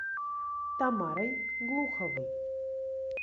тамарой глуховой